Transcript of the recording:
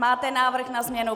Máte návrh na změnu?